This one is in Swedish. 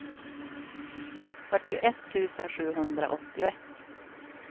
fyrtioett tusen sjuhundraåttioett